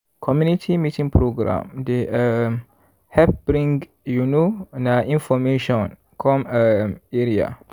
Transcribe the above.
community meeting program dey um help bring you know na information come um area. um